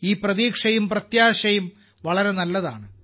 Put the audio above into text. ഈ പ്രതീക്ഷയും പ്രത്യാശയും വളരെ നല്ലതാണ്